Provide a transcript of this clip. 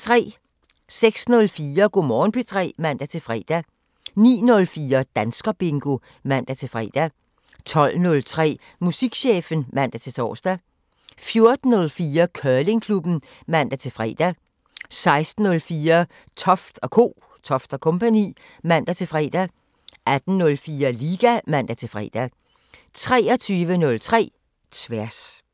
06:04: Go' Morgen P3 (man-fre) 09:04: Danskerbingo (man-fre) 12:03: Musikchefen (man-tor) 14:04: Curlingklubben (man-fre) 16:04: Toft & Co. (man-fre) 18:04: Liga (man-fre) 23:03: Tværs